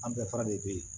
An bɛɛ fara de be yen